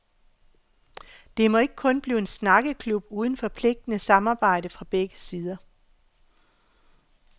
Det må ikke kun blive en snakkeklub uden forpligtende samarbejde fra begge sider.